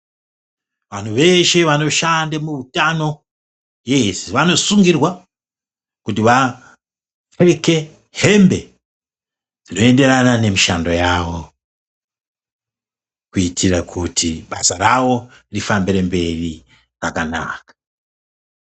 Vantu veshe vanoshanda muhutano veshe vanosungirwa kuti vapfeke hembe dzinoenderana nemishando yawo kuitira kuti basa ravo rifambire mberi rakanaka.